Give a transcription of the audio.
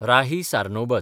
Rahi Sarnobat